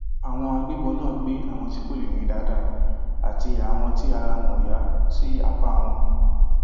àwọn agbébọn náà gbé àwọn tí kò lè rìn dáadáa àti àwọn tí ara wọn ò yá sí apá wọn